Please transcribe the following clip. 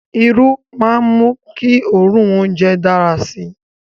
Iru maa n mu ki oorun ounjẹ dara si